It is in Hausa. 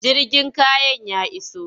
Jirgin kayan ya iso?